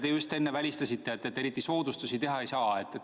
Te just enne välistasite, et eriti soodustusi teha ei saa.